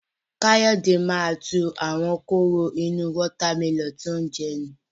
Káyọ̀dé máa tu àwọn kóró inú wọ́tá mẹlọ̀nù tí ó ń jẹ nù.